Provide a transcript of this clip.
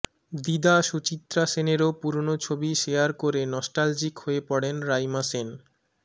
দিদা সুচিত্রা সেনেরও পুরনো ছবি শেয়ার করে নস্ট্যালজিক হয়ে পড়েন রাইমা সেন